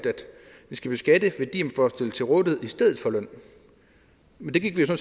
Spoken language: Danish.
vi skal beskatte værdier får stillet til rådighed i stedet for løn men det gik vi jo